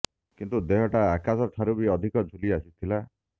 କିନ୍ତୁ ଦେହଟା ଆକାଶ ଠାରୁ ବି ଅଧିକ ଝୁଲି ଆସିଥିଲା